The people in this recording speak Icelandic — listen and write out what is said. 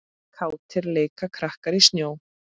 Kátir leika krakkar í snjó.